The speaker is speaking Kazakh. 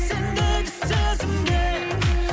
сендегі сезімге